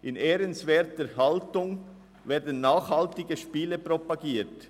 In ehrenwerter Haltung werden nachhaltige Spiele propagiert.